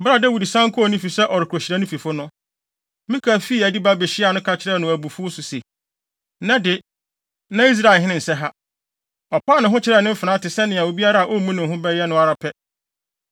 Bere a Dawid san kɔɔ ne fi sɛ ɔrekohyira ne fifo no, Mikal fii adi ba behyiaa no ka kyerɛɛ no abufuw so se, “Nnɛ de, na Israelhene nsɛ ha! Ɔpaa ne ho kyerɛɛ ne mfenaa te sɛ nea obiara a ommu ne ho bɛyɛ no ara pɛ.”